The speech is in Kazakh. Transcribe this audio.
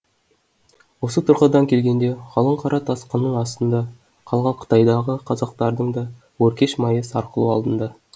осы тұрғыдан келгенде қалың қара тасқынның астында қалған қытайдағы қазақтардың да өркеш майы сарқылу алдында